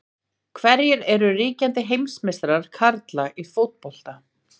Hverjir eru ríkjandi heimsmeistarar karla í fótbolta?